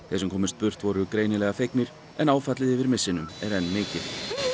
þeir sem komust burt voru greinilega fegnir en áfallið yfir er enn mikið